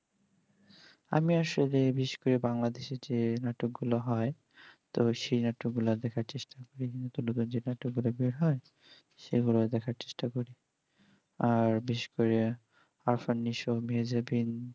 আমি আসলে বেশি করে ওই বাংলাদেশ এর যে নাটক গুলো হয় তো সেই নাটক গুলো দেখার চেষ্টা করছি সেগুলোই দেখার চেষ্টা করছি আর বেশি করে